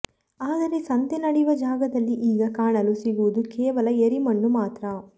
ಆದರೆ ಸಂತೆ ನಡೆಯುವ ಜಾಗದಲ್ಲಿ ಈಗ ಕಾಣಲು ಸಿಗುವುದು ಕೇವಲ ಎರಿಮಣ್ಣು ಮಾತ್ರ